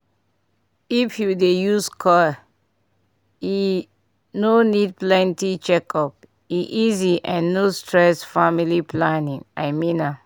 if u dey use coil e no need plenty checkup--e easy and no stress family planning i mean am